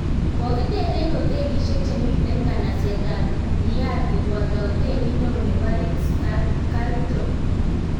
Kokiter en hotelisiek chemite nganaset ab Riyadh koboto hotelit neoo nebo Ritz-Carlton